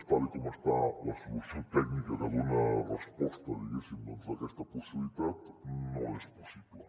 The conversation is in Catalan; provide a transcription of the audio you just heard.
tal com està la solució tècnica que dona resposta diguéssim a aquesta possibilitat no és possible